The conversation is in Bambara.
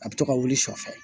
A bɛ to ka wuli sɔ fɛ